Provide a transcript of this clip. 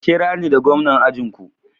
Ku kirani da gwamnan ajin ku.